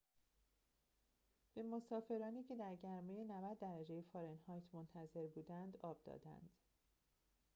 به مسافرانی که در گرمای ۹۰ درجه فارنهایت منتظر بودند آب دادند